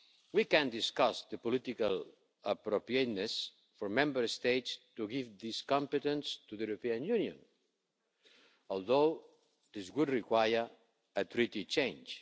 We can discuss the political appropriateness for Member States to give this competence to the European Union, although this would require a treaty change.